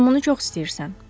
Sən bunu çox istəyirsən.